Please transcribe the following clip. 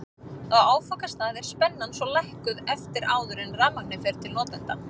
Á áfangastað er spennan svo lækkuð aftur áður en rafmagnið fer til notenda.